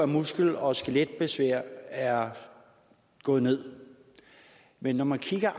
muskel og skeletbesvær er gået ned men når man kigger